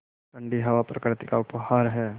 ठण्डी हवा प्रकृति का उपहार है